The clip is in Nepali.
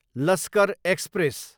लस्कर एक्सप्रेस